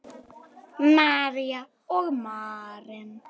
María og Maren.